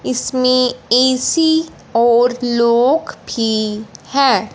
इसमें ए_सी और लॉक भी है।